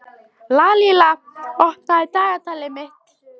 Lalíla, opnaðu dagatalið mitt.